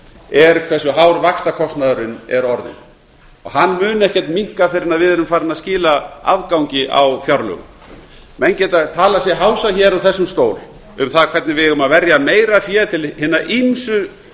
er hversu hár vaxtakostnaðurinn er orðinn og hann mun ekkert minnka fyrr en við erum farin að skila afgangi á fjárlögum menn geta talað sig hása hér úr þessum stól um það hvernig við eigum að verja meira fé til hinna ýmsu